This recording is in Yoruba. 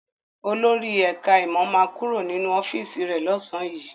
Olórí ẹ̀ká ìmọ̀ ma kúrò nínú ọ́fíìsì rẹ̀ lọ́sàn yìí